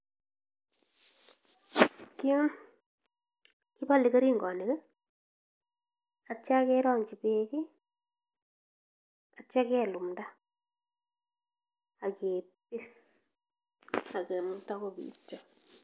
Yu kepaale keringonik atyo kerongchi beek atyo kelumda ak ketie ak kemeto kopityo.